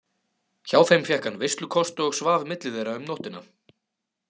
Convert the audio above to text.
Hjá þeim fékk hann veislukost og svaf milli þeirra um nóttina.